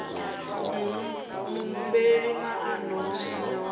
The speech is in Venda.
muhumbeli moano wa muṋe wa